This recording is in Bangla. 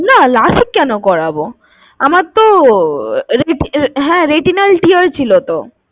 না lasic কেন করবো? আমার তো রে~ হ্যাঁ retinal tear ছিলো তো